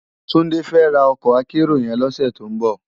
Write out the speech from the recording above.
Tunde fè rá òkò ákèérò yèn lòsè tó n bò